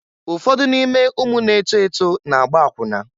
Ụfọdụ n'ime ụmụ na-eto eto na-agba akwụna.